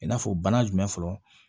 I n'a fɔ bana jumɛn fɔlɔ